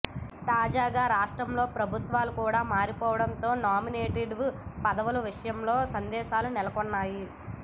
తాజాగా రాష్ట్రంలో ప్రభుత్వం కూడా మారిపోవడంతో నామినేటెడ్ పదవుల విషయంలో సందేహాలు నెలకొన్నాయి